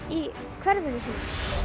í hverfinu sínu